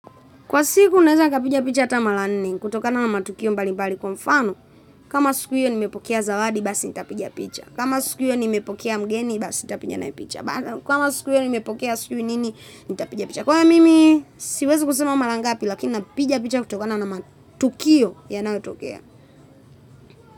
Kwa siku naweza nikapiga picha ata mara nne kutokana na matukio mbali mbali kwa mfano kama siku hiyo nimepokea zawadi basi nitapiga picha, kama siku hiyo nimepokea mgeni basi nitapigana picha, kama siku hiyo nimepokea sijui nini nitapiga picha. Kwani mimi siwezi kusema mara ngapi lakini napiga picha kutokana na matukio yanayotokea.